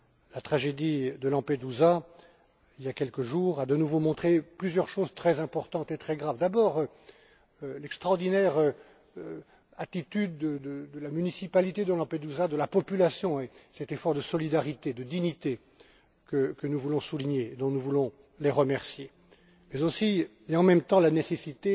La tragédie de Lampedusa, il y a quelques jours, a de nouveau montré plusieurs choses très importantes et très graves d'abord, l'extraordinaire attitude de la municipalité et de la population de Lampedusa, ainsi que cet effort de solidarité et de dignité que nous voulons souligner et dont nous voulons les remercier, mais aussi, et en même temps, la nécessité